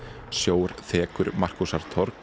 sjór þekur